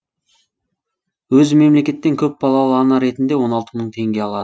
өзі мемлекеттен тек көпбалалы ана ретінде он алты мың теңге алар